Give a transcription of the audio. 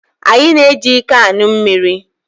Anyi na-eji iko aṅụ mmiri